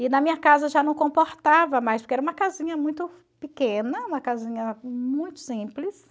E na minha casa já não comportava mais, porque era uma casinha muito pequena, uma casinha muito simples.